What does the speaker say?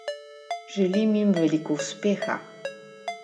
Želim jim veliko uspeha!